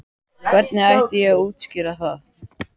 Hvernig ætti ég að útskýra það?